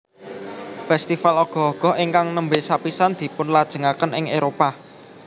Festival Ogoh Ogoh ingkang nembe sapisan dipunlajengaken ing Éropah